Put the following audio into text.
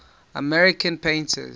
american painters